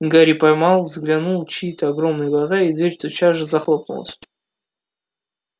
гарри поймал взглядом чьи-то огромные глаза и дверь тотчас захлопнулась